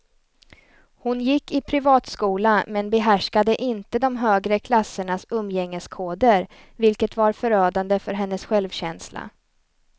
Hon gick i privatskola men behärskade inte de högre klassernas umgängeskoder, vilket var förödande för hennes självkänsla.